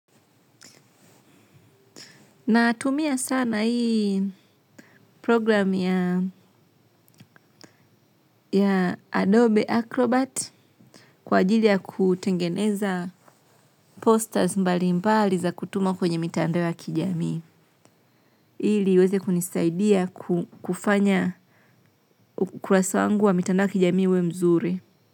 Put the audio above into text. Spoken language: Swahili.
Natumia sana hii programu ya ya Adobe Acrobat kwa ajili ya kutengeneza posters mbali mbali za kutuma kwenye mitandao ya kijamii. Ili iweze kunisaidia kufanya ukurasa wangu wa mitandao ya kijamii uwe mzuri.